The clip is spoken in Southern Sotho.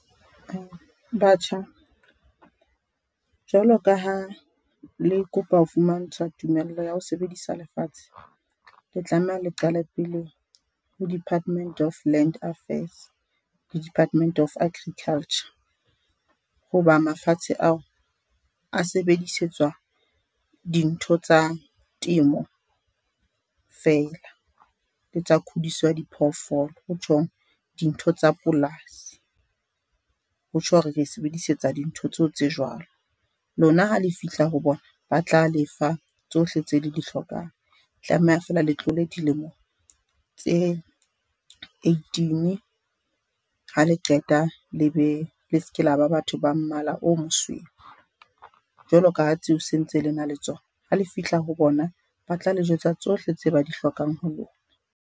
Batjha, jwalo ka ha le kopa ho fumantshwa tumello ya ho sebedisa lefatshe le tlameha le qale pele ho Department of Land Affairs, le Department of Agriculture. Hoba mafatshe ao a sebedisetswa dintho tsa temo fela le tsa khudiso ya diphoofolo. Ho tjhong dintho tsa polasi, ho tjho hore re sebedisetsa dintho tseo tse jwalo. Lona ha le fihla ho bona ba tla lefa tsohle tse le di hlokang tlameha feela le tlole dilemo tse eighteen. Ha le qeta le be le se ke la ba batho ba mmala o mosweu jwaloka ha tseo se ntse le na le tsona ha le fihla ho bona. Ba tla le jwetsa tsohle tse ba di hlokang ho lona.